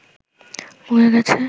পুড়ে গেছে